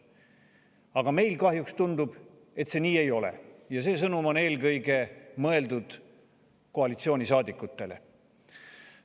Aga kahjuks tundub, et meil see nii ei ole, ja see sõnum on eelkõige mõeldud koalitsioonisaadikutele.